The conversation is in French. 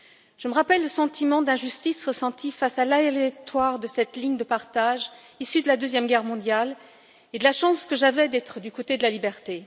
Je me rappelle le sentiment d'injustice ressenti face au caractère arbitraire de cette ligne de partage, issue de la Deuxième Guerre mondiale, et la chance que j'avais d'être du côté de la liberté.